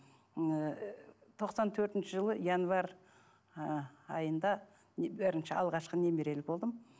ы тоқсан төртінші жылы январь ы айында алғашқы немерелі болдым